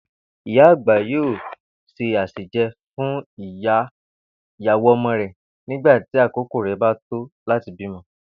Ìyá àgbà yóò se àsèje̩ fún ìyàwó o̩mo̩ rè̩ nígbà tí àkókò rè̩ bá tó láti bímo̩